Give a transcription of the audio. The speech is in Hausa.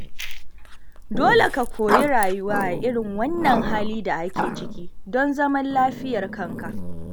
Dole ka koyi rayuwa a irin wannan halin da ake ciki, don zaman lafiyar kanka.